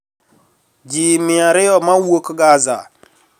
Ji mia ariyo ma wuok Gaza